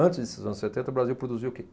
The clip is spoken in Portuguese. Antes desses anos setenta, o Brasil produzia o que?